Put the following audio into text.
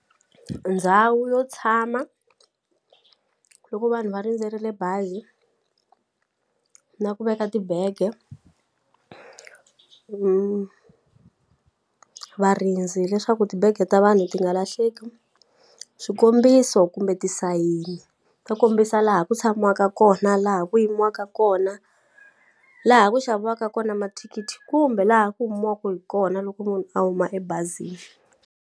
Ndhawu yo tshama loko vanhu va rindzerile bazi na ku veka tibege varindzi leswaku tibege ta vanhu ti nga lahleki swikombiso kumbe tisayini to kombisa laha ku tshamuwaka kona laha ku yimiwaka kona laha ku xaviwaka kona mathikithi kumbe laha ku humiwaku hi kona loko munhu a huma ebazini.